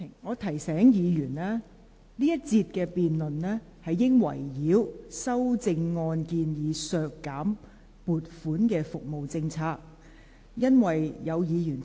我提醒委員，這一節的辯論應圍繞修正案建議削減撥款的服務的政策。